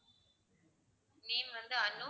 name வந்து அனு